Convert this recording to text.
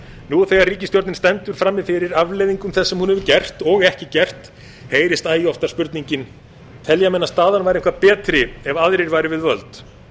nú þegar ríkisstjórnin stendur frammi fyrir afleiðingum þess sem hún hefur gert og ekki gert heyrist æ oftar spurningin telja menn að staðan væri eitthvað betri ef aðrir væru við völd